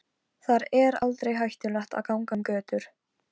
Bragð er að þá barnið finnur!